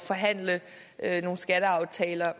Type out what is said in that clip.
forhandle nogle skatteaftaler